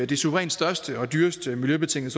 det suverænt største og dyreste miljøbetingede